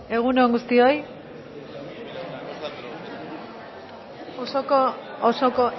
egun on guztioi osoko osoko